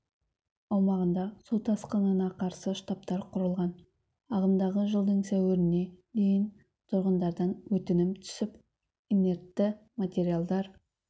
аумағында су тасқынына қарсы штабтар құрылған ағымдағы жылдың сәуіріне дейін тұрғындардан өтінім түсіп инертті материалдар